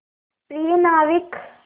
प्रिय नाविक